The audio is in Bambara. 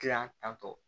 Kilan tantɔ